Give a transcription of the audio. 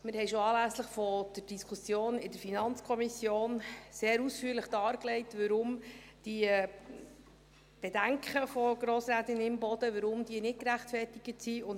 Wir haben schon anlässlich der Diskussion in der FiKo sehr ausführlich dargelegt, warum die Bedenken von Grossrätin Imboden nicht gerechtfertigt sind.